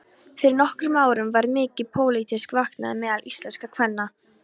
Fyrir nokkrum árum varð mikil pólitísk vakning meðal íslenskra kvenna.